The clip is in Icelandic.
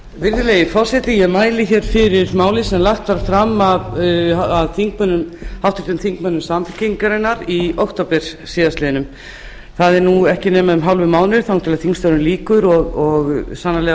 virðulegi forseti ég mæli hér fyrir máli sem lagt var fram af háttvirtum þingmönnum samfylkingarinnar í október síðastliðnum nú er ekki nema um hálfur mánuður þangað til þingstörfum lýkur og sannarlega